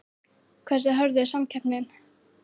Hversu hörð er samkeppnin?